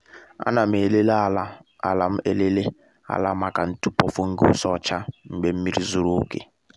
a na m elele ala m elele ala maka ntụpọ fungus ọcha mgbe nmiri zuru oke